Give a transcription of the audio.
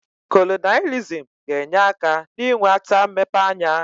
Kolonailizm ga-enye aka n'iwe ata mmepe anya.